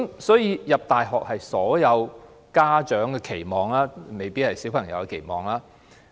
所以，入讀大學是所有家長的期望，卻未必是小朋友的期望。